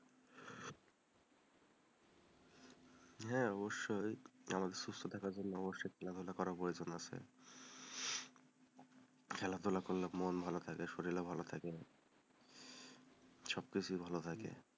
হ্যাঁ অবশ্যই, আমাদের সুস্থ থাকার জন্য অবশ্যই খেলাধুলা করার প্রয়োজন আছে, খেলাধুলা করলে মন ভালো থাকে শরীরও ভালো থাকে,